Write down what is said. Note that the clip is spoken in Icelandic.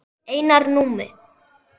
Einar Númi.